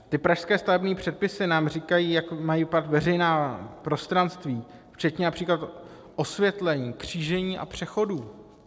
Ty pražské stavební předpisy nám říkají, jak mají vypadat veřejná prostranství, včetně například osvětlení, křížení a přechodů.